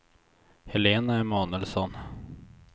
Helena Emanuelsson